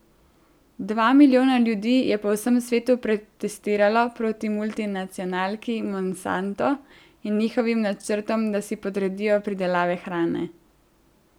Dva milijona ljudi je po vsem svetu protestiralo proti multinacionalki Monsanto in njihovim načrtom, da si podredijo pridelavo hrane.